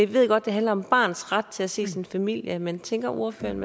ved godt det handler om barnets ret til at se sin familie men tænker ordføreren